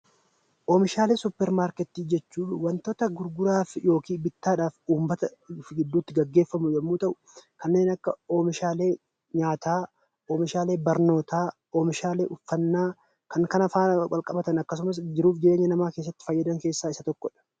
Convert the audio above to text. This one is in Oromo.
Oomishaalee Suuparmarketii jechuun wantoota gurguraaf yookiin bittaa dhaaf uummata gidduu tti geggeeffamu yoo ta'u, kanneen akka oomishaalee nyaataa, oomishaalee barnootaa, oomishaalee uffannaa, kan kana faana wal qabatan akkasumas jiruuf jireenya namaa keessatti fayyadan keessaa isa tokko dha.